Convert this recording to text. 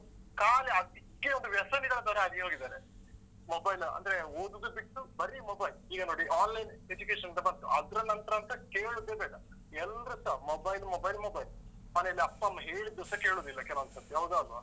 ಖಾಲಿ ಅದಿಕ್ಕೆ ಒಂದು ವ್ಯಸನಿಗಳ ತರ ಆಗಿ ಹೋಗಿದಾರೆ mobile ಅಂದ್ರೆ ಓದುದು ಬಿಟ್ಟು ಬರಿ mobile. ಈಗ ನೋಡಿ Online education ಅಂತ ಬಂತು ಅದ್ರ ನಂತ್ರ ಅಂತೂ ಕೇಳುದೇ ಬೇಡ. ಎಲ್ರುಸ mobile, mobile, mobile. ಮನೆಯಲ್ಲಿ ಅಪ್ಪ ಅಮ್ಮ ಹೇಳಿದ್ದುಸ ಕೇಳುದಿಲ್ಲ ಕೆಲವೊಂದ್ ಸತಿ ಹೌದಾ ಅಲ್ವಾ?